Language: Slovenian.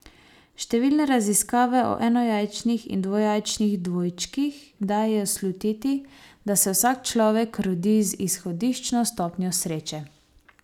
Številne raziskave o enojajčnih in dvojajčnih dvojčkih dajejo slutiti, da se vsak človek rodi z izhodiščno stopnjo sreče.